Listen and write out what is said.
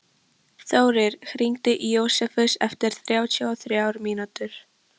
Þórir, hringdu í Jósefus eftir þrjátíu og þrjár mínútur.